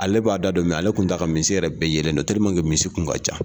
Ale b'a da don ale tun t'a ka misi yɛrɛ bɛɛ yelen don misi kun ka ca